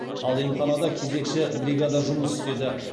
ал емханада кезекші бригада жұмыс істеді